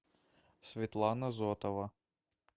светлана зотова